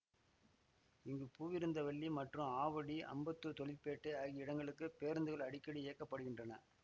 இங்கு பூவிருந்தவல்லி மற்றும் ஆவடி அம்பத்தூர் தொழிற்பேட்டை ஆகிய இடங்களுக்கு பேருந்துகள் அடிக்கடி இயக்க படுகின்றன